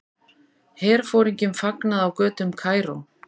Herforingjum fagnað á götum Kaíró.